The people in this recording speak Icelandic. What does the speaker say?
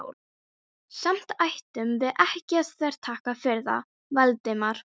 Samt ættum við ekki að þvertaka fyrir það, Valdimar.